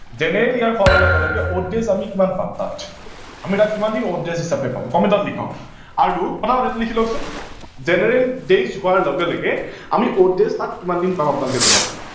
general year হোৱাৰ লগে লগে odd days আমি কিমান পাম তাত, আমি তাত কিমান দিন odd days হিচাপে পাম লিখক আৰু পতা পত এইটো লিখি লক চোন। general days হোৱাৰ লগে লগে আমি odd days তাত কিমান দিন পাম আপোনালোকে জনাব।